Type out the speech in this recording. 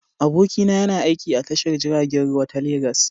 Abokina yana aiki a tashar jiragen ruwa ta Legas.